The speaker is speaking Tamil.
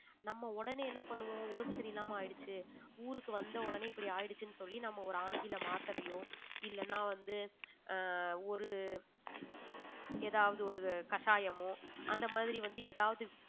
நம்ம உடனே என்ன பண்ணுவோம் உடம்பு சரி இல்லாம ஆயிடுச்சு ஊருக்கு வந்த உடனே இப்படி ஆயிடுச்சுன்னு சொல்லி நம்ம ஒரு ஆங்கில மாத்திரையோ இல்லன்னா வந்து ஆஹ் ஒரு ஏதாவது ஒரு கஷாயமோ அந்த மாதிரி வந்து ஏதாவது